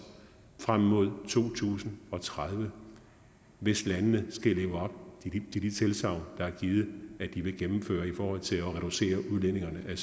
frem mod to tusind og tredive hvis landene skal leve op til de tilsagn der er givet i forhold til at reducere udledningerne af